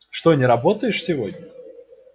что не работаешь сегодня